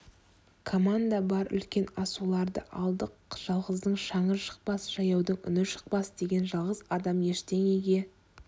команда бар үлкен асуларды алдық жалғыздың шаңы шықпас жаяудың үні шықпас деген жалғыз адам ештеңеге